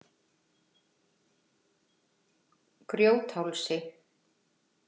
Grjóthálsi